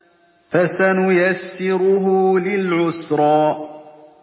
فَسَنُيَسِّرُهُ لِلْعُسْرَىٰ